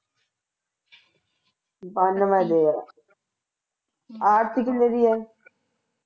ਬਾਨਵੇ ਦੇ ਐ ਆਰਤੀ ਕਿੰਨੇ ਦੀ ਐ